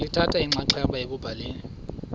lithatha inxaxheba ekubhaleni